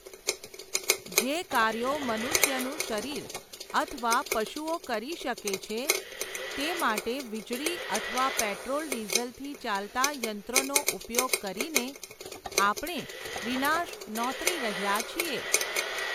જે કાર્યો મનુષ્યનું શરીર અથવા પશુઓ કરી શકે છે, તે માટે વીજળી અથવા પેટ્રોલ ડિઝલથી ચાલતા યંત્રોનો ઉપયોગ કરીને, આપણે વિનાશ નોંતરી રહ્યા છીએ.